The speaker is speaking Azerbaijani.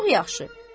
Çox yaxşı.